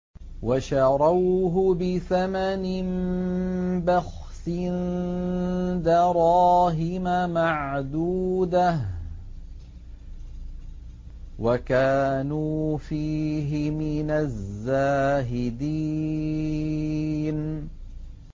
وَشَرَوْهُ بِثَمَنٍ بَخْسٍ دَرَاهِمَ مَعْدُودَةٍ وَكَانُوا فِيهِ مِنَ الزَّاهِدِينَ